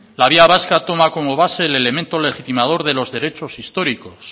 la vía vasca toma como base el elemento legitimador de los derechos históricos